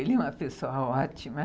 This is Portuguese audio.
Ele é uma pessoa ótima.